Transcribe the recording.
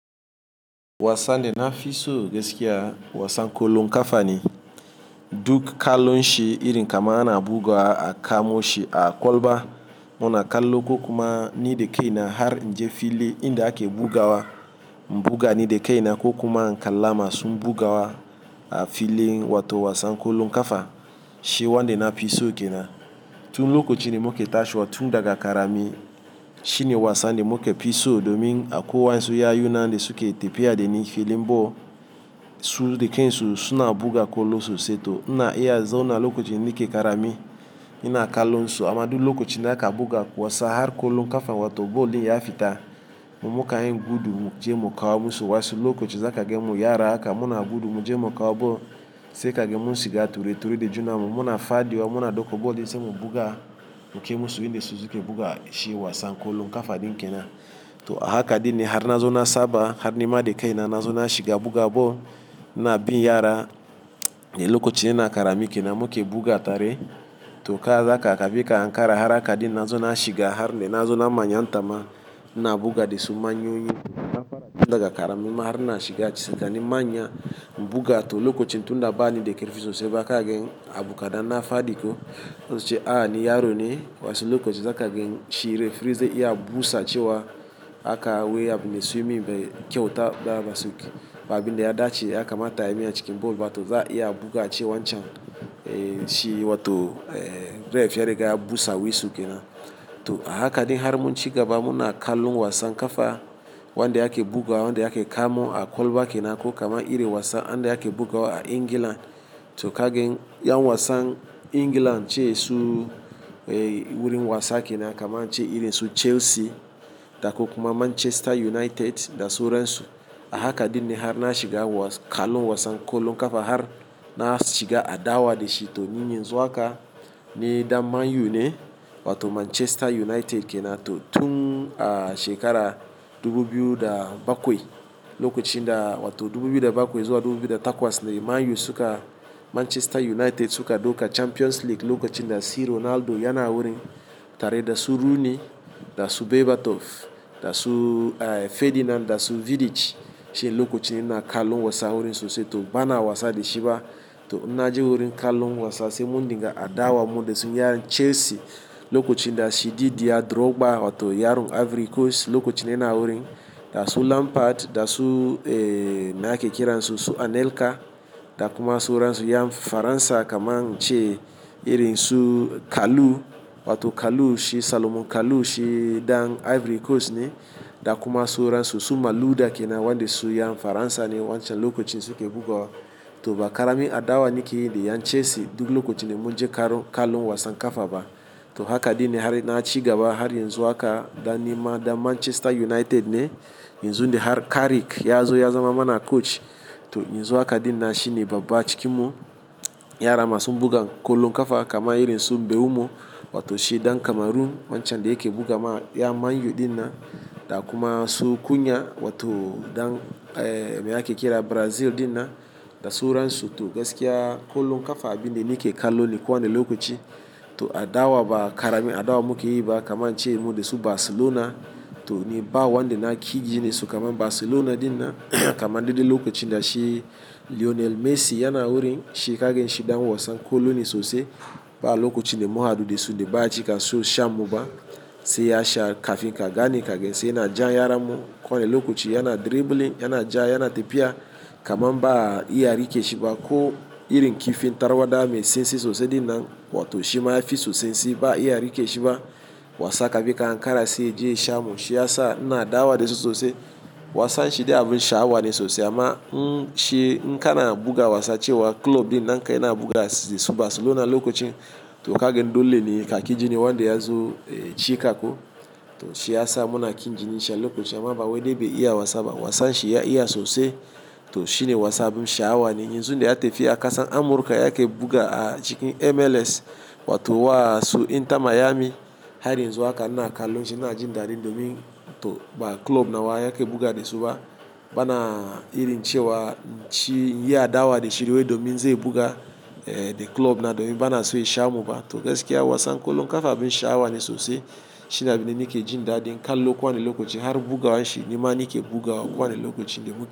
Wasan de na fi so gaskiya wasan ƙolon kafa ne. Duk ƙalon shi irin kamar ana bugawa a kamo shi a ƙwalba. Muna kallon ko kuma ni da kai na har in je fili inda ake bugawa. Bugani da kai na ko kuma in kalla masun bugawa a fili wato wasan ƙolon kafa. Shi wan de na fi so ke nan. Tun lokacin da muke tashiwa tun daga ƙarami. Shine wasan de muke fi so domin a ko wayansu yayu na de suke tafiya da ni filin ball. Su da kain su suna buga ƙolo sosai to ina iya zauna lokacin niƙe ƙarami. Ina kalon su amma duk lokaci naka buga wasa har ƙolon ƙafa wato ball din ya fita, mu muka yi gudu muje mu kawo musu. Wasu lokaci za ka gan mu yara haka muna gudu muje mukawo ball sai ka gan mun shiga ture-ture de juna mu muna fadi wa muna dauko ball din sai mu buga muke musu in da su suke buga shi wasan ƙolon ƙafa din kenan. To a haka dine har na zo na saba har nima da kai na zo na shiga buga ball. Ina bin yara, lokacin ina ƙarami kenan muke buga tare. To ka haka kafi ka hankara har haka dina zo na shiga har ne na zo na manyantama. Ina buga dasu manyoyi na fara tun daga ƙarami ma har na shiga ci sakanin manya in buga. To lokacin tunda ba ni da karfi sosai ba kagan abu kadan na fadi ko sai su ce a ni yaro ne. Wasu lokaci za ka gan shi refree zai iya busa cewa aka wai abu da su yi mun bai kyauta da basu. Ba abbin da ya dace yakamata a yi mai a cikin ball ba to za iya buga a ce wancan, eh shi wato eh ref ya riga ya busa wisul kenan. To a haka din har mun ci gaba muna kallon wasan ƙafa wanda ake bugawa wanda ake kamu a ƙwalba kenan ko kama iri wasan ande ake bugawa a England. To ka gan yan wasan England ce su, eh wurin wasa kenan kama in ce iri su Chelsea, da kuma Manchester United da sauran su. Haka dine har na shiga kalon wasan ƙolon ƙafa har na shiga adawa da shi. To ni yanzu haka ne dan Man U ne wato Manchester United kenan. To tun a shekara dubu biyu da bakwai, lokacin da wato dubu biyu da bakwai zuwa dubu biyu da takwas ne Man U suka-- Manchester United suka dauka Champions League lokacin da C Ronaldo yana wurin tare da su Rooney, da su Berbatov, da su, eh Ferdinand da su Vidic. Shine lokacin ina kalon wasa wurin sosai to bana wasa da shi ba. To in na je wurin kalon wasa sai mun dinga adawa mu dasu yaran Chelsea. Lokacin da shi Didier Drogba wato yaron Ivory Coast lokacin da yana wurin, da su Lampard, da su, eh me ake kiran su Anelka, da kuma sauransu yam Faransa kaman in ce irin su Kalu wato Kalu shi Salomon Kalu shi dan Ivory Coast ne. Da kuma sauransu su Malouda kenan wanda su yan Faransa ne wancan lokacin suke bugawa. To ba ƙarami adawa nike yi da yan Chelsea duk lokacin da muje karo kalon wasan ƙafa ba. To haka dine har na ci gaba har yan zuwa haka dan nima dan Manchester United ne. Yanzun da har Carrick ya zo ya zama mana coach. To yanzu haka dine shine baba cikinmu, yara masu bugan ƙolon ƙafa kama irin su Mbeumo wato shi dan Cameroon wancan de yake bugama yan Man U din nan. Da kuma su Kunya wato dan, eh me ake kira Brazil din nan da sauransu. To gaskiya ƙolon ƙafa abinde nike kalon ni kowane lokaci. To adawa ba ƙarami adawa muke yi ba kaman in ce mu dasu Barcelona. To ni bawa de na ki jinin su kamar Barcelona din nan kaman dai dai lokacin da shi Lionel Messi yana wurin. Shi ka gan shi dan wasan ƙolo ne sosai. Ba lokacin da mu haddu dasu da baya cika so shan mu ba. Sai ya sha kafin ka gani ka gan sai yana jan yaran mu kowane lokaci yana dribbling, yana ja yana tafiya kaman ba iya rike shi ba. Ko irin kifin tarwada mai sansi sosai din nan wato shi ma yafi su sansi ba iya rike shi ba. Wasa kafi ka hankara sai ya je sha mu shi yasa ina adawa dasu sosai. Wasan shi dai abun shaawa ne sosai amma, n-- shi in ka na buga wasa cewa club din naka yana buga dasu Barcelona lokacin. To ka gan dole ne ka ki jini wanda ya zo, eh ci ka ko. To shi yasa muna kin jini shi a lokacin amma ba wai dai bai iya wasa ba. Wasan shi ya iya sosai to shine wasan abun shaawa ne. Yanzu dai ya tafi a kasa Amurka yake buga a cikin MLS wato wa su Inter Miami. Har yanzu haka ina kalon shi ina jin daɗi domin to ba club na wa yake buga dasu ba. Bana irin cewa shi yi adawa da shi wai domin zai buga, eh da club na domin bana so ya sha muba. To gaskiya wasan ƙolon ƙafa abun shaawa ne sosai. Shine abinde nike jin daɗin kallo ko wane lokaci har bugawan shi ni ma nike bugawa kowane lokaci de mu.